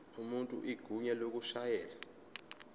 umuntu igunya lokushayela